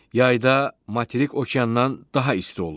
Yayda materik okeandan daha isti olur.